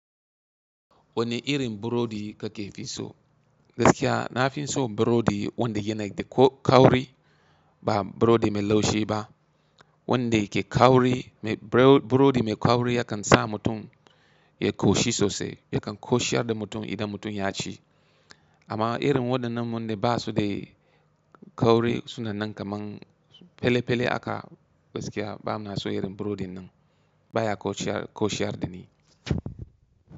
Wane irin burodi kake fi so? Gaskiya na fi so burodi wanda yana da kauri ba burodi mai laushi ba. Wanda ke kauri, burodi mai kauri yakan sa mutum ya ƙoshi sosai. Yakan ƙoshiyar da mutum idan mutum ya ci. Amma irin waɗannan waɗan ba su da kauri suna nan kaman pele pele haka gaskiya ba mana so irin burodin nan. Ba ya ƙoshiyar da ni.